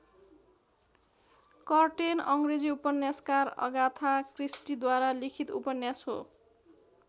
Curtain अङ्ग्रेजी उपन्यासकार Agatha क्रिस्टीद्वारा लिखित उपन्यास हो।